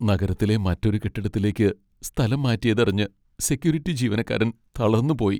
നഗരത്തിലെ മറ്റൊരു കെട്ടിടത്തിലേക്ക് സ്ഥലംമാറ്റിയതറിഞ്ഞ് സെക്യൂരിറ്റി ജീവനക്കാരൻ തളർന്നുപോയി.